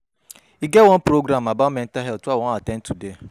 E get one program about mental health I wan at ten d today